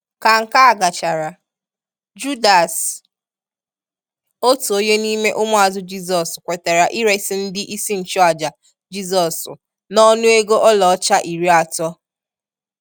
Ka nke a gachara, Judas, otu onye n'ime ụmụazụ Jizọs kwetere iresi ndi isi nchụàjà Jizọs n'ọnụ ego ọla ọcha iri atọ.